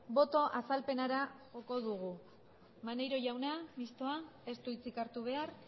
boto azalpenera joko dugu maneiro jauna mistoa ez du hitzik hartu behar